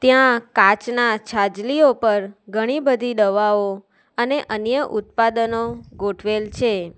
ત્યાં કાચના છાજલીઓ પર ઘણી બધી દવાઓ અને અન્ય ઉત્પાદનો ગોઠવેલ છે.